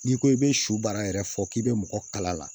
N'i ko i bɛ su baara yɛrɛ fɔ k'i bɛ mɔgɔ kala la